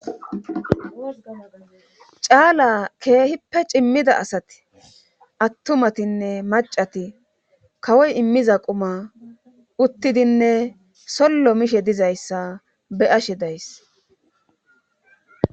caala keehippe cimmida asati attumatinne macati kawoy immiza quma uttidinne sollo mishe dizayssa be ashe days